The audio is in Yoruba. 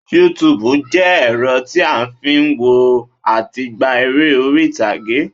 Yúutùbù jẹ́ ẹ̀rọ tí a n fi n wo àti gba eré oríìtààge